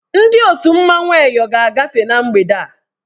Ndị otu mmanwụ Eyọ ga-agafe na mgbede a.